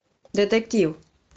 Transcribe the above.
детектив